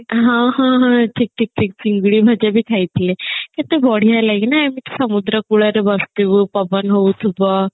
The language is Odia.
ହଁ ହଁ ହଁ ଠିକ ଠିକ ଠିକ ଚିଙ୍ଗୁଡି ଭଜା ବି ଖାଇଥିଲେ କେତେ ବଢିଆ ଲେଗେ ନା ଏମିତି ସମୁଦ୍ର କୂଳରେ ବସିଥିବୁ ପବନ ହଉଥିବ